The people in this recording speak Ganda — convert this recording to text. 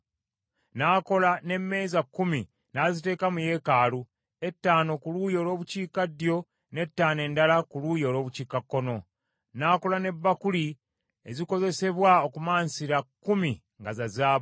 N’akola n’emmeeza kkumi, n’aziteeka mu yeekaalu, etaano ku luuyi olw’obukiikaddyo, n’etaano endala ku luuyi olw’obukiikakkono. N’akola ne bbakuli ezikozesebwa okumansira kkumi nga za zaabu.